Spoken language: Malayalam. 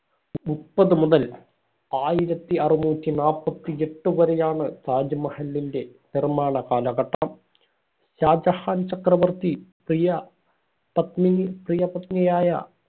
മുപ്പത് മുതൽ ആയിരത്തി അറുനൂറ്റി നാപ്പത്തി എട്ട് വരെയാണ് താജ്മഹലിന്റെ നിർമ്മാണ കാലഘട്ടം ഷാജഹാൻ ചക്രവർത്തി പ്രിയ പത്നി പ്രിയ പത്നിയായ